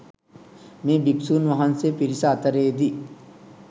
මේ භික්‍ෂූන් වහන්සේ පිරිස අතරේදී